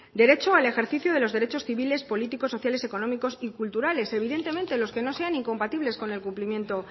derecho al ejercicio de los derechos civiles políticos sociales económicos y culturales evidentemente los que no sean incompatibles con el cumplimiento